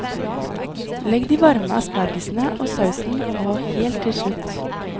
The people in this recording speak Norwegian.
Legg de varme aspargesene og sausen på helt til slutt.